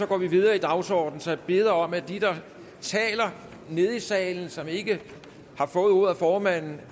går vi videre i dagsordenen så jeg beder om at de der taler nede i salen og som ikke har fået ordet af formanden